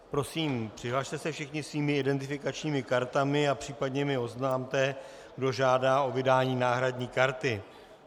Prosím, přihlaste se všichni svými identifikačními kartami a případně mi oznamte, kdo žádá o vydání náhradní karty.